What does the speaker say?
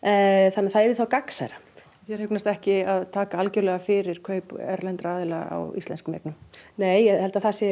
þannig að það yrði þá gagnsærra þér hugnast ekki að taka algjörlega fyrir kaup erlendra aðila á íslenskum eignum nei ég held að það sé